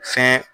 Fɛn